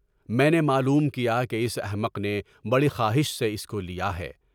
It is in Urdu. میں نے معلوم کیا کہ اس احمق نے بڑی خواہش سے اس کو لیا ہے۔